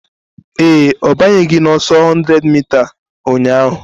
Ee, ọ banyeghị n'ọsọ 100m ụnyahụ